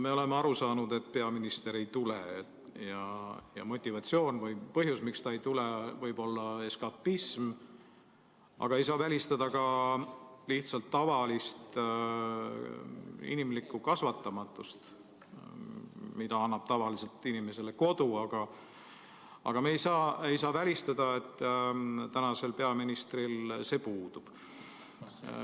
Me oleme aru saanud, et peaminister ei tule, ja motivatsioon või põhjus, miks ta ei tule, võib olla eskapism, aga ei saa välistada ka lihtsalt tavalist inimlikku kasvatamatust, mida annab tavaliselt inimesele kodu, aga me ei saa välistada, et tänasel peaministril see puudub.